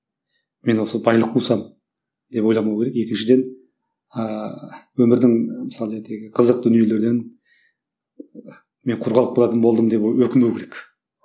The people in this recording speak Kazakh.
мен осы байлық қусам деп ойламау керек екіншіден ыыы өмірдің мысалы қызық дүниелерден мен құр қалып қалдым деп өкінбеу керек